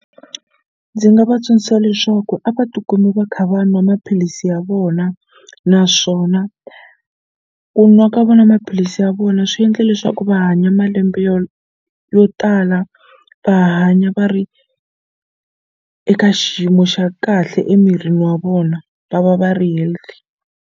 Ndzi nga va tsundzuxa leswaku a va tikumi va kha va nwa maphilisi ya vona naswona ku nwa ka vona maphilisi ya vona swi endle leswaku vanhu hanya malembe yo tala va hanya va ri eka xiyimo xa kahle emirini wa vona va va va ri healthy.